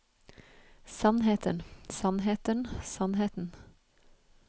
sannheten sannheten sannheten